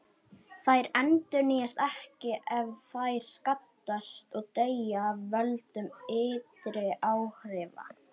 Þær endurnýjast ekki ef þær skaddast, og deyja af völdum ytri áhrifa.